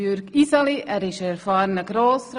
er ist ein erfahrener Grossrat.